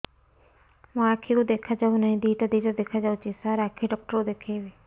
ମୋ ଆଖିକୁ ଦେଖା ଯାଉ ନାହିଁ ଦିଇଟା ଦିଇଟା ଦେଖା ଯାଉଛି ସାର୍ ଆଖି ଡକ୍ଟର କୁ ଦେଖାଇବି